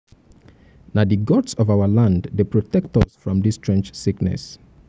na di gods of our land dey protect us from dis strange sickness.